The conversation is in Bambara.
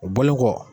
O bɔlen kɔ